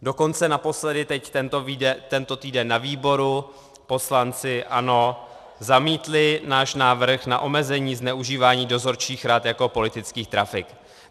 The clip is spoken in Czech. Dokonce naposledy teď tento týden na výboru poslanci ANO zamítli náš návrh na omezení zneužívání dozorčích rad jako politických trafik.